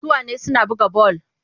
Suna wane suna buga bal.